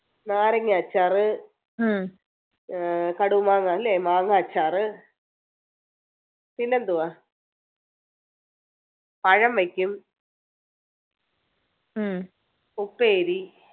നാരങ്ങാഅച്ചാറ് ഏർ കടുമാങ്ങ അല്ലെ മാങ്ങാ അച്ചാറ് പിന്നെ എന്തുവാ പഴം വെക്കും ഉപ്പേരി